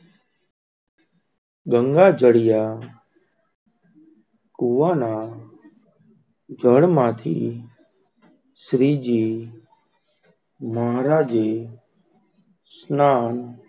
ગંગા જાળિયા કૂવાના જળ માંથી શ્રીજી મહારાજે, સ્નાન,